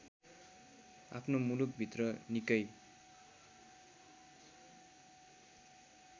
आफ्नो मुलुकभित्र निकै